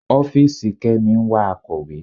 Ọ́fìsì Kemi ń wá akọ̀wé.